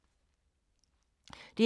DR K